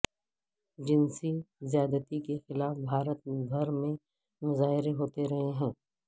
جنسی زیادتی کے خلاف بھارت بھر میں مظاہرے ہوتے رہے ہیں